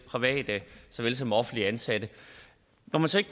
private såvel som offentligt ansatte